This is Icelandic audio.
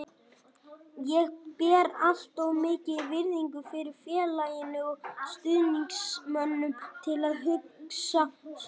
Ég ber allt of mikla virðingu fyrir félaginu og stuðningsmönnunum til að hugsa svona.